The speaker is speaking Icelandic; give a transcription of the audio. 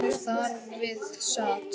Þar við sat.